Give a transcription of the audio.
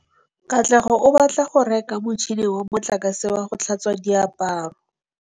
Katlego o batla go reka motšhine wa motlakase wa go tlhatswa diaparo.